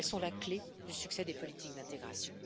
Elles sont la clé du succès des politiques d'intégration.